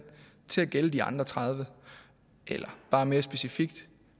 til at gælde de andre tredive eller bare mere specifikt